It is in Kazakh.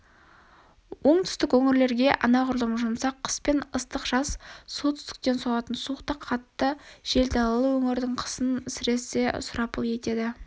оңтүстік өңірлерге анағұрлым жұмсақ қыс пен ыстық жаз солтүстіктен соғатын суық та қатты жел далалы өңірдің қысын сіресе сұрапыл етеді